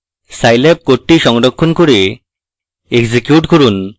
scilab code সংরক্ষণ করে execute করুন